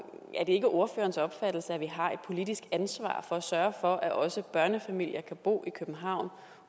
er det ikke ordførerens opfattelse at vi har et politisk ansvar for at sørge for at også børnefamilier kan bo i københavn